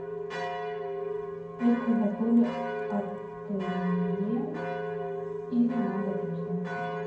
есть ли в отеле ателье и ремонт одежды